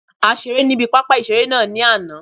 A seré ní ibi pápá ìseré náà ní àná